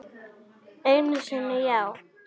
Einu sinni já.